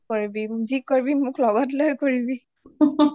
নকৰিবি যি কৰিবি মোক লগত লৈ কৰিবি